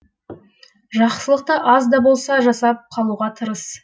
жақсылықты аз да болса да жасап қалуға тырыс